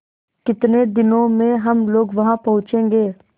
कितने दिनों में हम लोग वहाँ पहुँचेंगे